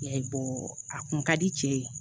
Ya a kun ka di cɛ ye